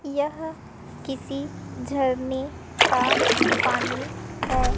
यह किसी झरने में का पानी है।